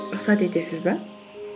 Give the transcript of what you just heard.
рұхсат етесіз бе